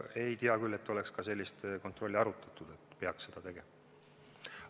Ei tea küll, et oleks ka arutatud, et peaks seda kontrolli tegema.